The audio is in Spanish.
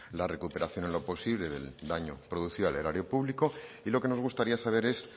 la recuperación en lo posible del daño producido al erario público y lo que nos gustaría saber es